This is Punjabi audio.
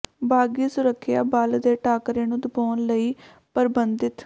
ਬਾਗ਼ੀ ਸੁਰੱਖਿਆ ਬਲ ਦੇ ਟਾਕਰੇ ਨੂੰ ਦਬਾਉਣ ਲਈ ਪਰਬੰਧਿਤ